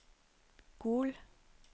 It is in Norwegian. Gol